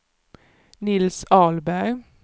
Nils Ahlberg